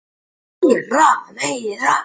netið nota þeir líka til innkaupa á dóti í skóinn